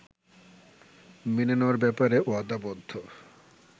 মেনে নেওয়ার ব্যাপারে ওয়াদাবদ্ধ